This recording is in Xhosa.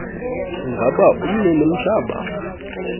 ingaba umnini mhlaba